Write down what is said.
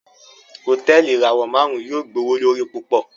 Hotẹẹli ìràwọ márùn yóò gbowolori púpọ